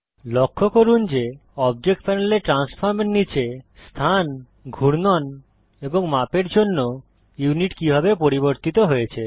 লক্ষ্য করুন যে অবজেক্ট প্যানেলে ট্রান্সফর্ম এর নীচে স্থান ঘূর্ণন এবং মাপের জন্য ইউনিট কিভাবে পরিবর্তিত হয়েছে